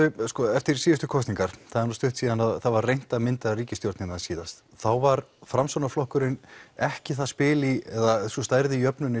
eftir síðustu kosningar það er nú stutt síðan það var reynt að mynda ríkisstjórnina síðast þá var Framsóknarflokkurinn ekki það spil í eða sú stæða í jöfnunni